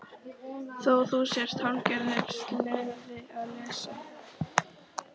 Þó þú sért hálfgerður sleði að lesa.